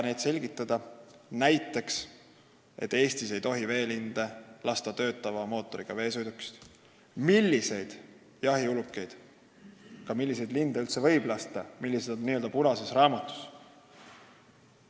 Näiteks see, et Eestis ei tohi töötava mootoriga veesõidukist veelinde lasta, või see, milliseid jahiulukeid, sh linde, võib üldse lasta, millised liigid on punases raamatus.